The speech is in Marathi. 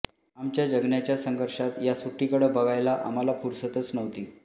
आमच्या जगण्याच्या संघर्षात या सुट्टीकडं बघायला आम्हाला फुरसतच नव्हती